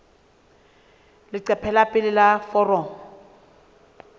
leqephe la pele la foromo